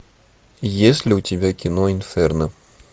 есть ли у тебя кино инферно